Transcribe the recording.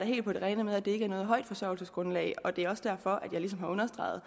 helt på det rene med at det ikke er noget højt forsørgelsesgrundlag og det er også derfor jeg ligesom har understreget